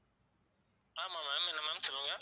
ஆமாம் ma'am என்ன ma'am சொல்லுங்க?